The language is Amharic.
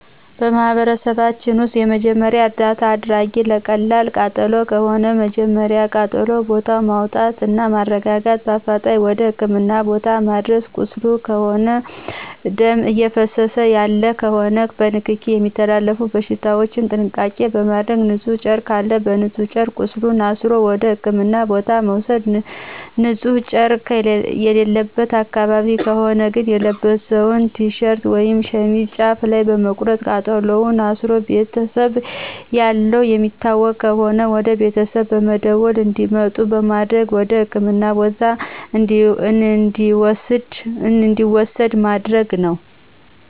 በማህበረሰባችን ውስጥ የመጀመሪያ እርዳታ አደራረግ ለቀላል ቃጠሎ ከሆነ መጀመሪያ ከቃጠሎ ቦታው በማውጣትና በማረጋጋት በአፋጣኝ ወደ ህክምና ቦታ ማድረስ ቁስል ከሆነና ደም እየፈሰሰው ያለ ከሆነ በንክኪ የሚተላለፉ በሽታዎችን ጥንቃቄ በማድረግ ንጹህ ጨርቅ ካለ በንጹህ ጨርቅ ቁስሉን አስሮ ወደ ህክምና ቦታ መውሰድ ንጺህ ጨረቅ የሌለበት አካባቢ ከሆነ ግን የለበሰውን ቲሸርት ወይም ሸሚዝ ጫፍ ላይ በመቁረጥ ቃስሉን አስሮ ቤተሰብ ያለው የሚታወቅ ከሆነ ወደቤተሰብ በመደወል እንዲመጡ በማድረግ ወደህክምና ቦታ እንዲወሰድ ማድረግ ነው።